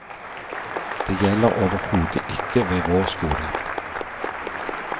Det gjelder overhodet ikke ved vår skole.